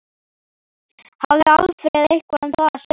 Hafði Alfreð eitthvað um það að segja?